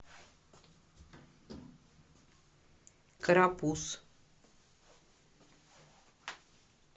карапуз